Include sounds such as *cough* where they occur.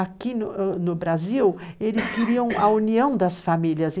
Aqui no o Brasil, eles queriam *coughs* a união das famílias.